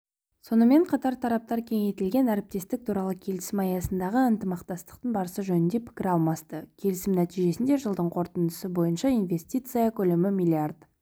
сонымен қатар тараптар кеңейтілген әріптестік туралы келісім аясындағы ынтымақтастықтың барысы жөнінде пікір алмасты келісім нәтижесінде жылдың қорытындысы бойынша инвестиция көлемі миллиард